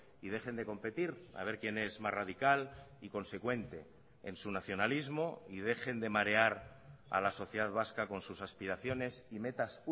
y dejen de competir a ver quién es más radical y consecuente en su nacionalismo y dejen de marear a la sociedad vasca con sus aspiraciones y metas